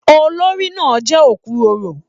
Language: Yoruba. Olórí náà jẹ okuroro.